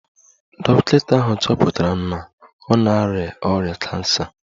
Dọkịta ahụ chọpụtara na ọ na-arịa ọrịa kansa